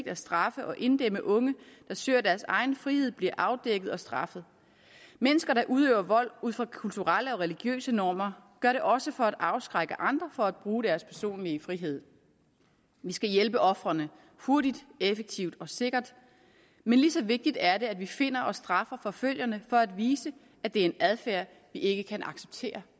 at straffe og inddæmme unge der søger deres egen frihed bliver afdækket og straffet mennesker der udøver vold ud fra kulturelle og religiøse normer gør det også for at afskrække andre fra at bruge deres personlige frihed vi skal hjælpe ofrene hurtigt effektivt og sikkert men lige så vigtigt er det at vi finder og straffer forfølgerne for at vise at det er en adfærd vi ikke kan acceptere